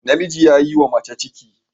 Namiji ya yiwa mace ciki